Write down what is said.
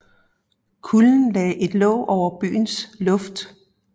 Kulden lagde et låg over byens luft